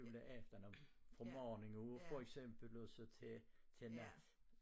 Juleaften om fra morgenen for eksempel og så til til nat